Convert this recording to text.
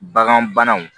Bagan banaw